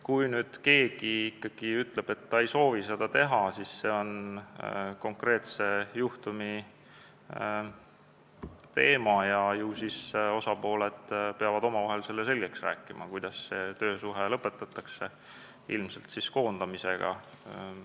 Kui keegi ikkagi ütleb, et ta ei soovi seda teha, siis see on konkreetse juhtumi teema ja ju siis osapooled peavad omavahel selgeks rääkima, kuidas töösuhe lõpetatakse, ilmselt siis koondamise teel.